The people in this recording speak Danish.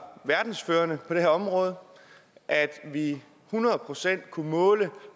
verdensførende på det her område at vi hundrede procent kunne måle